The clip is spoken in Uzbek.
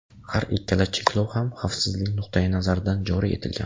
Har ikkala cheklov ham xavfsizlik nuqtai nazaridan joriy etilgan.